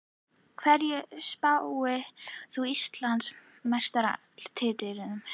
Hverjum spáir þú Íslandsmeistaratitlinum?